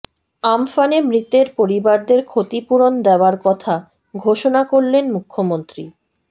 আমফানে মৃতের পরিবারদের ক্ষতিপূরণ দেওয়ার কথা ঘোষণা করলেন মুখ্যমন্ত্রী